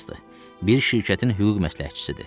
Bir şirkətin hüquq məsləhətçisidir.